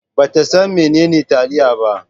Ba ta san menene taliya ba.